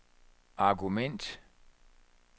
argument